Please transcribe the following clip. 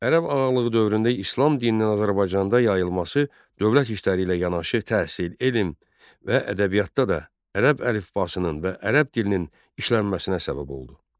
Ərəb ağalığı dövründə İslam dininin Azərbaycanda yayılması dövlət işləri ilə yanaşı təhsil, elm və ədəbiyyatda da ərəb əlifbasının və ərəb dilinin işlənməsinə səbəb oldu.